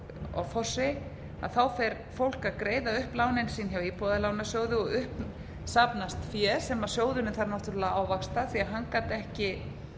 offorsi fer fólk að greiða upp lánin sín hjá íbúðalánasjóði og upp safnast fé sem sjóðurinn þarf náttúrlega að ávaxta því að hann gat ekki